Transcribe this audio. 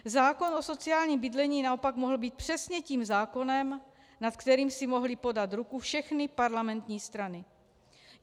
Zákon o sociálním bydlení naopak mohl být přesně tím zákonem, nad kterým si mohly podat ruku všechny parlamentní strany.